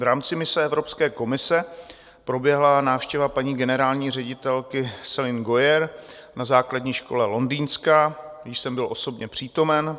V rámci mise Evropské komise proběhla návštěva paní generální ředitelky Céline Gauer na základní škole Londýnská, kde jsem byl osobně přítomen.